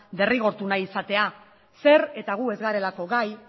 derrigortu nahi izatea zer eta gu ez garelako gai